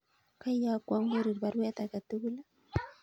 Koiyokwon Korir baruet age tugul